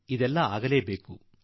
ಇವೆಲ್ಲವೂ ಅಗಲೇಬೇಕು